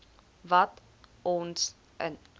wat ons in